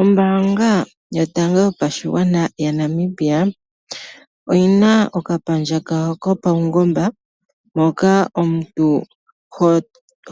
Ombaanga yotango yopashigwana yaNamibia, oyi na okapandja kawo kopaungomba moka omuntu